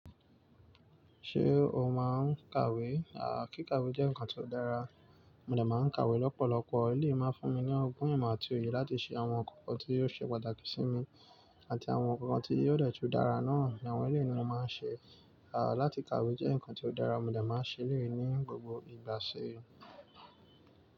Ṣé o máa ń kàwé? Kí kàwé jẹ́ ǹkan tó dára. Mo dà máa ń kàwé lọ́pọ̀lọpọ̀. Eleyí máa ń fún mi ní ọgbọ́n ìmọ̀ àti òye láti ṣe àwọn ǹkan kan tí yóò ṣe pàtàkì sí mi àti àwọn ǹkan tí yóò dẹ́ẹ̀ jú dára náà ni àwọn ilé ni mo máa ń ṣe. Láti kàwé jẹ́ ǹkan tó dára mo dà máa ń ṣe lè ní gbogbo ìgbà ṣe.